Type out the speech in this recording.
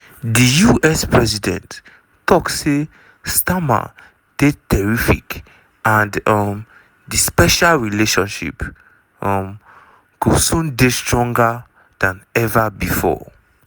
di us president tok say starmer dey "terrific" and um "di special relationship… um go soon dey stronger dan ever bifor".